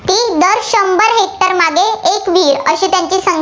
एक विहीर, अशी त्यांची